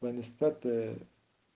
в плане статуя